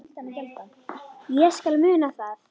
Ég skal muna það.